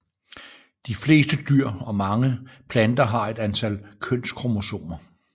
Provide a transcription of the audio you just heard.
De fleste dyr og mange planter har et antal kønskromosomer